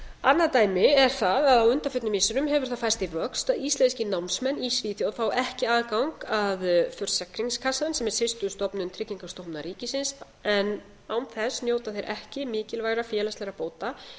annað dæmi er það að á undanförnum missirum hefur það færst í vöxt að íslenskir námsmenn í svíþjóð fá ekki aðgang að försäkringskassan sem er systurstofnun tryggingastofnunar ríkisins en án þess njóta þeir ekki mikilvægra félagslegra bóta eins